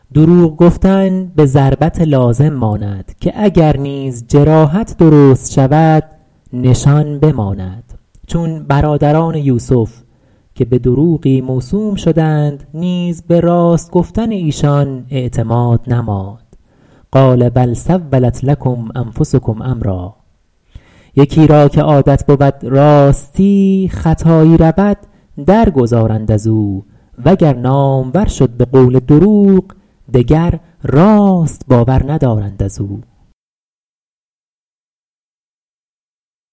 دروغ گفتن به ضربت لازم ماند که اگر نیز جراحت درست شود نشان بماند چون برادران یوسف که به دروغی موسوم شدند نیز به راست گفتن ایشان اعتماد نماند قال بل سولت لکم انفسکم امرا یکی را که عادت بود راستی خطایی رود در گذارند از او و گر نامور شد به قول دروغ دگر راست باور ندارند از او